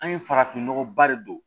An ye farafin nɔgɔba de don